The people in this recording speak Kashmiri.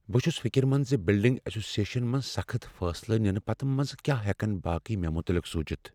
بہٕ چھس فکر مند ز بلڈنگ ایسوسی ایشنس منٛز سخت فیصلہٕ ننہٕ پتہٕ کیا ہیکن باقی مےٚ متعلق سوچتھ۔